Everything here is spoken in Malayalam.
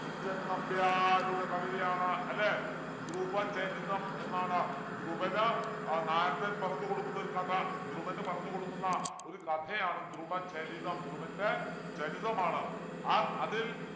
കുഞ്ചൻ നമ്പ്യാരുടെ കവിതയാണ് അല്ലേ ധ്രുവചരിതം എന്നാണ് ധ്രുവന് ആഹ് നാരദൻ പറഞ്ഞുകൊടുക്കുന്ന ഒരു കഥ ധ്രുവന് പറഞ്ഞുകൊടുക്കുന്ന ഒരു കഥയാണ് ധ്രുവചരിതം ധ്രുവൻ്റെ ചരിതമാണ് ആ അതിൽ